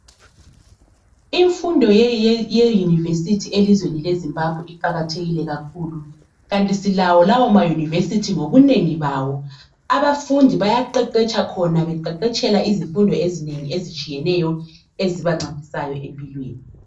Imfundo ye-University elizweni leZimbabwe iqakathekile kakhulu. Kanti silawo lawo ma-University ngobunengi bawo. Abafundi bayaqeqetsha khona beqeqetshela izifundo ezinengi ezitshiyeneyo ezibancedisayo empilweni.